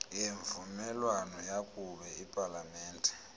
yemvumelwano yakube ipalamente